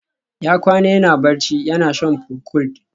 Ya kwana yana barci, yana shan procold